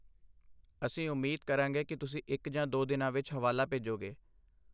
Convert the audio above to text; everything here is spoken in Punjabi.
ਅਸੀਂ ਉਮੀਦ ਕਰਾਂਗੇ ਕਿ ਤੁਸੀਂ ਇੱਕ ਜਾਂ ਦੋ ਦਿਨਾਂ ਵਿੱਚ ਹਵਾਲਾ ਭੇਜੋਗੇ।